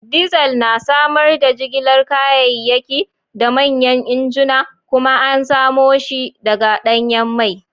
Diesel na samar da jigilar kayayyaki da manyan injuna kuma an samo shi daga danyen mai.